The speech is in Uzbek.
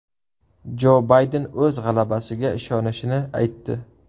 Jo Bayden o‘z g‘alabasiga ishonishini aytdi.